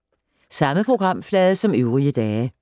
Samme programflade som øvrige dage